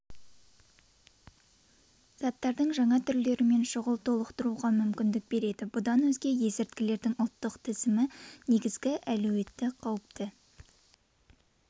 заттардың жаңа түрлерімен шұғыл толықтыруға мүмкіндік береді бұдан өзге есірткілердің ұлттық тізімі негізгі әлеуетті қауіпті